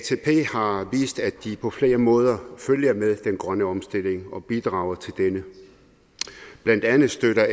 har vist at de på flere måder følger med den grønne omstilling og bidrager til denne blandt andet støtter